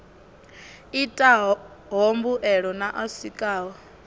itaho mbuelo na a sikaho